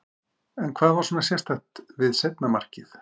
En hvað var svona sérstakt við seinna markið?